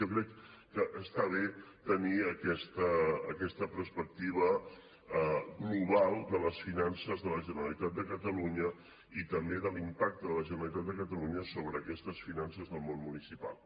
jo crec que està bé tenir aquesta perspectiva global de les finances de la generalitat de catalunya i també de l’impacte de la generalitat de catalunya sobre aquestes finances del món municipal